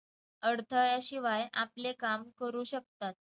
अडथळ्याशिवाय आपले काम करू शकतात.